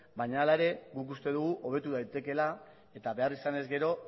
baina hala ere guk uste dugu hobetu daitekeela eta behar izanez gero